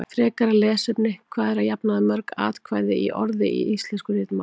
Frekara lesefni: Hvað eru að jafnaði mörg atkvæði í orði í íslensku ritmáli?